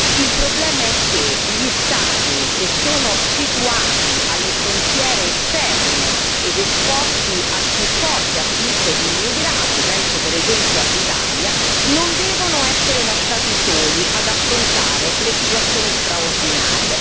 Il problema è che gli Stati che sono situati alle frontiere esterne ed esposti al più forte afflusso di immigrati penso per esempio all'Italia non devono essere lasciati soli ad affrontare le situazioni straordinarie.